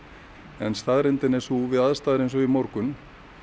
en staðreyndin er sú að við aðstæður eins og í morgun